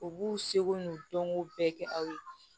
U b'u seko n'u dɔnko bɛɛ kɛ aw ye